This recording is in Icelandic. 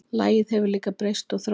Lagið hefur líka breyst og þróast.